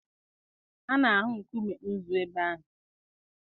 A na-ahụ nkume nzu ebe ahụ.